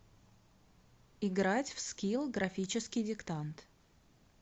играть в скилл графический диктант